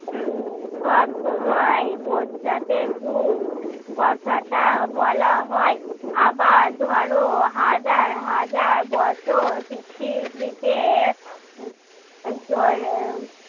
উম সব সময়ই বোঝাতে যুগ কথাটা বলা হয় আবার ধরো হাজার হাজার বছর পৃথিবীতে জল